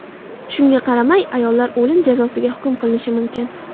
Shunga qaramay, ayollar o‘lim jazosiga hukm qilinishi mumkin.